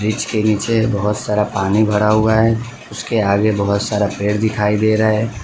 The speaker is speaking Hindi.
इसके नीचे बहोत सारा पानी भरा हुआ है उसके आगे बहोत सारा पेड़ दिखाई दे रहा है।